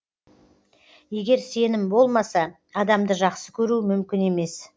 егер сенім болмаса адамды жақсы көру мүмкін емес